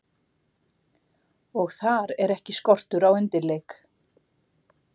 Og þar er ekki skortur á undirleik.